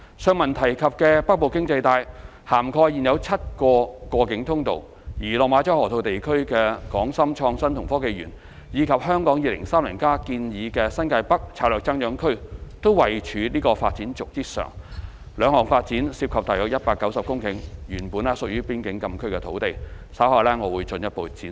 上文提及的"北部經濟帶"，涵蓋現有7個過境通道，而落馬洲河套地區的港深創新及科技園，以及《香港 2030+》建議的新界北策略增長區都位處這條發展軸之上，這兩項發展涉及約190公頃原本屬於邊境禁區的土地，稍後我會進一步闡述。